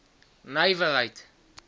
nywerheid